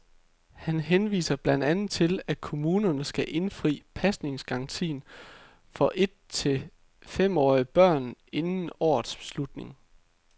Han henviser blandt andet til, at kommunerne skal indfri pasningsgarantien for et til femårige børn inden årets slutning.